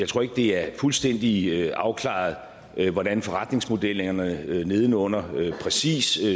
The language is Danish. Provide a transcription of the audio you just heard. tror ikke det er fuldstændig afklaret hvordan forretningsmodellerne neden under præcis